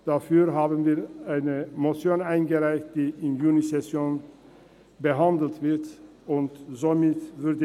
Dazu haben wir eine Motion eingereicht, die in der Junisession behandelt werden wird.